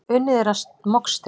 Unnið er að mokstri.